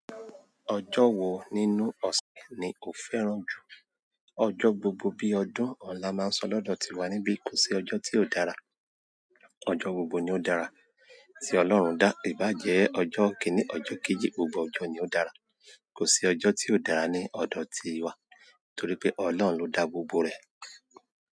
Ọjọ́ wo nínú ọ̀sẹ̀ ni o fẹ́ràn jù? Ọjọ́ gbogbo bí ọdún òun la máa ń sọ lọ́dọ̀ tiwa níbí kò sí ọjọ́ tí ó dára, ọjọ́ gbogbo ni ó dára tí Ọlọ́run dá. Íbàjẹ́ ọjọ́ kíní, ọjọ́ kejì, gbogbo ọjọ́ ni ó dára. Kò sí ọjọ́ tí ó dára ní ọ̀dọ̀ tiwa torí pé Ọlọ́run ló dá gbogbo rẹ̀.